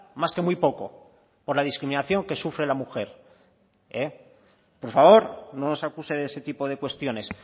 más que muy poco por la discriminación que sufre la mujer por favor no nos acuse de ese tipo de cuestiones